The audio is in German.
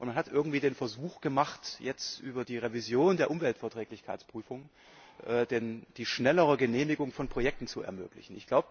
Und man hat irgendwie den Versuch gemacht, jetzt über die Revision der Umweltverträglichkeitsprüfung die schnellere Genehmigung von Projekten zu ermöglichen.